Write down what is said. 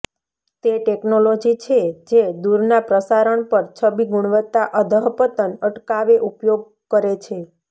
તે ટેકનોલોજી છે જે દૂરના પ્રસારણ પર છબી ગુણવત્તા અધઃપતન અટકાવે ઉપયોગ કરે છે